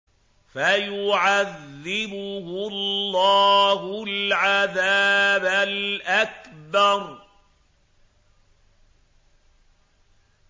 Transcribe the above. فَيُعَذِّبُهُ اللَّهُ الْعَذَابَ الْأَكْبَرَ